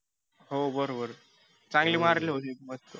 हो बरोबर चांगले मारले होते पण.